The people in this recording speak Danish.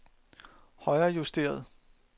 højrejusteret